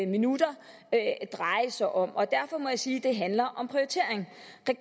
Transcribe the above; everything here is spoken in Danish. minutter dreje sig om derfor må jeg sige at det handler om prioritering